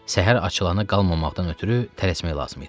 Səhər açılana qalmamaqdan ötrü tələsmək lazım idi.